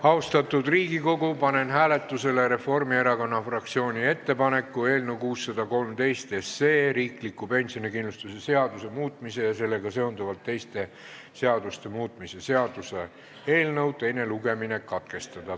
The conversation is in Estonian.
Austatud Riigikogu, panen hääletusele Reformierakonna fraktsiooni ettepaneku eelnõu 613, riikliku pensionikindlustuse seaduse muutmise ja sellega seonduvalt teiste seaduste muutmise seaduse eelnõu teine lugemine katkestada.